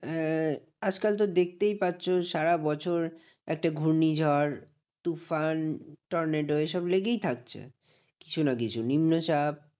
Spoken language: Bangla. আহ আজকাল তো দেখতেই পাচ্ছো সারাবছর একটা ঘূর্ণি ঝড়, তুফান, tornado, এইসব লেগেই থাকছে কিছু না কিছু নিম্নচাপ।